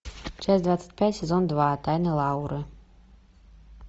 часть двадцать пять сезон два тайны лауры